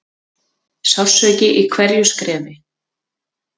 Sársauki í hverju skrefi.